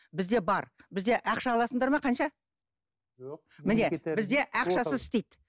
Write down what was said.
бізде бар бізде ақша аласыңдар ма қанша бізде ақшасыз істейді